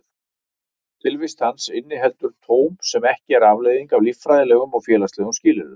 Tilvist hans inniheldur tóm sem ekki er afleiðing af líffræðilegum og félagslegum skilyrðum.